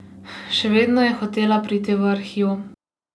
Še vedno je hotela priti v Arhiv.